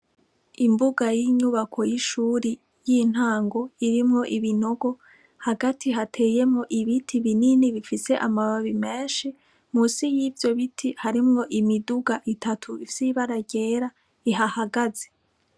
Imbuga y' inyubako y' ishuri y' intango irimwo ibinogo hagati hateyemwo ibiti binini bifise amababi menshi musi y' ivyo biti harimwo imiduga itatu ifise ibara ryera ihahagaze.